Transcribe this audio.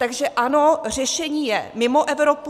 Takže ano, řešení je mimo Evropu.